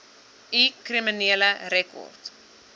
u kriminele rekord